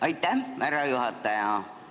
Aitäh, härra juhataja!